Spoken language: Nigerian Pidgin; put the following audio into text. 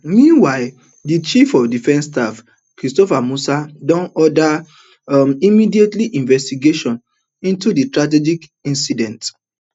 meanwhile di chief of defence staff christopher musa don order um immediate investigation into di tragic incident